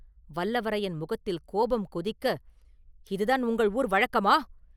வல்லவரையன் முகத்தில் கோபம் கொதிக்க, “இதுதான் உங்கள் ஊர் வழக்கமா?